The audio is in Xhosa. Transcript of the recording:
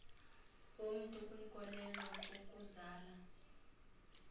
bomntu kwinkolelo kukuzala